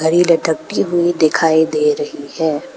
लटकती हुई दिखाई दे रही है।